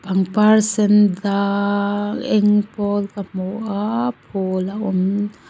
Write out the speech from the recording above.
pangpar sendang eng pawl ka hmu a phul a awm.